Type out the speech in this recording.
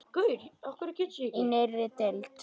Í nýrri deild.